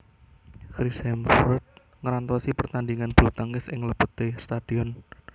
Chris Hemsworth ngrantosi pertandingan bulutangkis ing lebete stadion